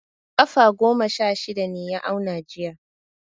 Kafa goma sha shida ne ya auna jiya.